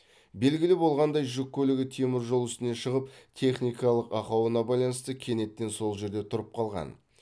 белгілі болғандай жүк көлігі темір жол үстіне шығып техникалық ақауына байланысты кенеттен сол жерде тұрып қалған